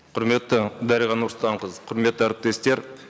құрметті дариға нұрсұлтанқызы құрметті әріптестер